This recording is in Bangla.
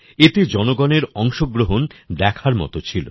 এতে জনগণের অংশগ্রহণ দেখার মত ছিল